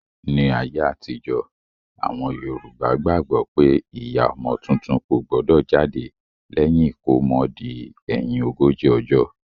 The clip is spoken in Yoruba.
Ní ayé àtijọ́, àwọn Yorùbá gbàgbó pé ìyá ọmọ tuntun kò gbọdọ̀ jáde lẹ́yìn ìkómọ di ẹ̀yin ogójì ọjọ́